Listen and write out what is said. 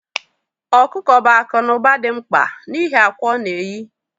Okuko bụ akụ na ụba dị mkpa n'ihi akwa ọ na-eyi